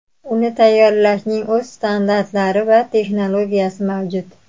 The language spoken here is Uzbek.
Uni tayyorlashning o‘z standartlari va texnologiyasi mavjud.